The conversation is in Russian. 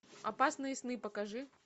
опасные сны покажи